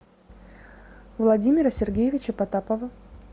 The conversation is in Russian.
владимира сергеевича потапова